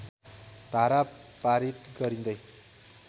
धारा पारित गरिँदै